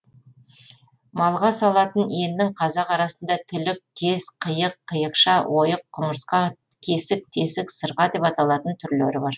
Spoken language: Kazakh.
малға салатын еннің қазақ арасында тілік кез қиық қиықша ойық құмырсқа кесік тесік сырға деп аталатын түрлері бар